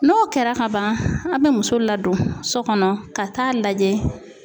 N'o kɛra kaban a bɛ muso ladon so kɔnɔ ka taa lajɛ.